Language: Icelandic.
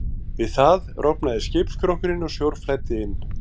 Við það rofnaði skipsskrokkurinn og sjór flæddi inn.